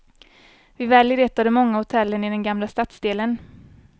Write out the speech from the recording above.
Vi väljer ett av de många hotellen i den gamla stadsdelen.